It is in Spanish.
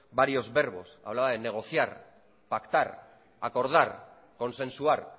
varios verbos hablaba de negociar pactar acordar consensuar